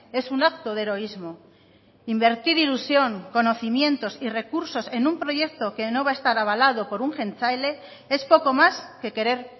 es un acto de heroísmo invertir ilusión conocimientos y recursos en un proyecto que no va a estar avalado por un jeltzale es poco más que querer